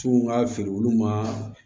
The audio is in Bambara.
Tinw ka feere olu ma